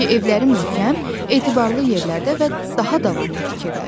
Çünki evləri möhkəm, etibarlı yerlərdə və daha davamlı tikirlər.